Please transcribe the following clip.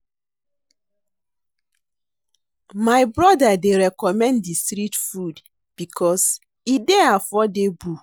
My brother dey recommend di street food because e dey affordable.